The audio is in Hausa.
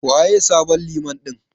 Waye sabon Liman ɗin?